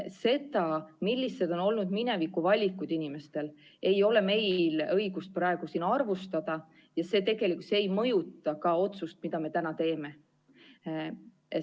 Seda, millised on olnud mineviku valikud inimestel, ei ole meil õigust arvustada ja see tegelikult ei mõjuta ka otsust, mille me täna teeme.